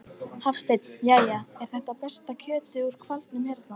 Hafsteinn: Jæja, er þetta besta kjötið úr hvalnum hérna?